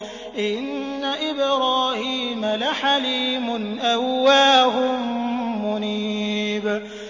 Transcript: إِنَّ إِبْرَاهِيمَ لَحَلِيمٌ أَوَّاهٌ مُّنِيبٌ